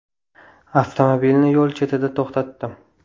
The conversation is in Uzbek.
Avtomobilni yo‘l chetida to‘xtatdim.